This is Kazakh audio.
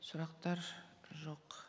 сұрақтар жоқ